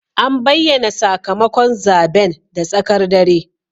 An bayyana sakamakon zaben da tsakar dare.